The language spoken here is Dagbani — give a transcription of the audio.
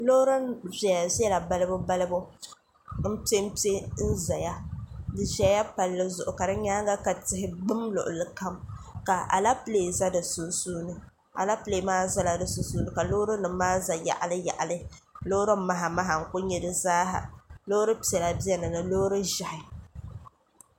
Loori viɛla viɛla balibu balibu n pɛ npɛ n ʒɛya di ʒɛla Palli zuɣu ka di nyaanga ka tihi gbum luɣulikam ka alɛpilɛ ʒɛ di sunsuuni alɛpilɛ nim maa ʒɛmi ka loori nim ʒɛ di yaɣili yaɣili loori maha maha n ku nyɛ di zaaha loori piɛla biɛni ni loori ʒiɛhi